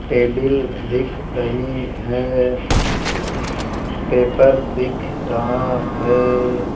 Table दिख रही है पेपर दिख रहा है।